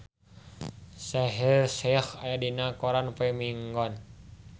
Shaheer Sheikh aya dina koran poe Minggon